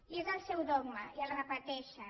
i és el seu dogma i el repeteixen